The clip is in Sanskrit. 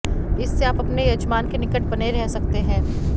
इससे आप अपने यजमान के निकट बने रह सकते हैं